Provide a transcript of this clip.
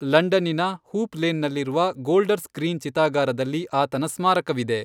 ಲಂಡನ್ನಿನ Hoop ಲೇನ್ನಲ್ಲಿರುವ Golders Green ಚಿತಾಗಾರದಲ್ಲಿ ಆತನ ಸ್ಮಾರಕವಿದೆ.